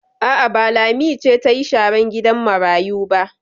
A'a, ba Lami ce ta yi sharan gidan marayu ba.